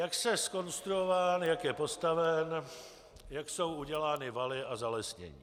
Jak je zkonstruován, jak je postaven, jak jsou udělány valy a zalesnění.